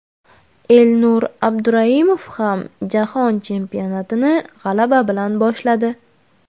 Elnur Abduraimov ham Jahon chempionatini g‘alaba bilan boshladi.